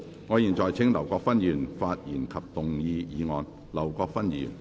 我現在請劉國勳議員發言及動議議案。